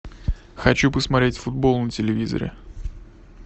хочу посмотреть футбол на телевизоре